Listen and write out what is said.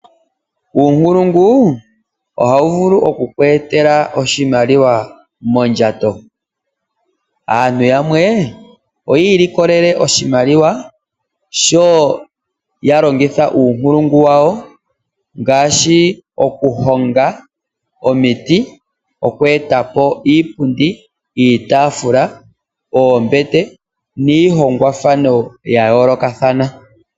Uunkulungu ohawu vulu okukweetela oshimaliwa mondjato. Aantu yamwe oya likola oshimaliwa sho yalongitha uunkulungu wawo ngaashi okuhonga omiti, okweetapo iipundi, iitafula, oombete niihongwathano ya yoolokothana.